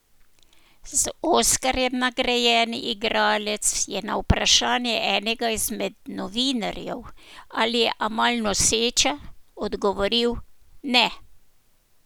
Z oskarjem nagrajeni igralec je na vprašanje enega izmed novinarjev, ali je Amal noseča, odgovoril: "Ne.